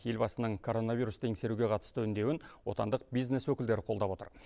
елбасының коронавирусты еңсеруге қатысты үндеуін отандық бизнес өкілдері қолдап отыр